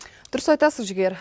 дұрыс айтасыз жігер